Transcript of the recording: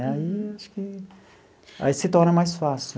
Né aí eu acho que aí se torna mais fácil.